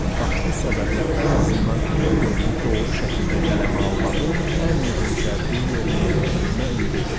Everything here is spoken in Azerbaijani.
Bax bu səbəblə ən azından bir dövrü doğru şəkildə qələmə almağın ən mühüm şərtini yerinə yetirdiyimə ümid edirəm.